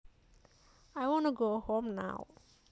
I wanna go home now